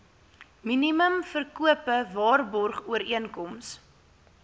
minimum verkope waarborgooreenkoms